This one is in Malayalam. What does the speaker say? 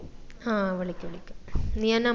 ആ വിളിക്കാ വിളിക്കാ